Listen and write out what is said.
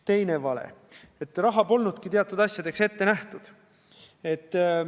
Teine vale on see, et raha polnudki teatud asjadeks ette nähtud.